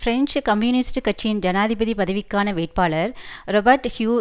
French communist கட்சியின் ஜனாதிபதி பதவிக்கான வேட்பாளர் றொபர்ட் ஹியூ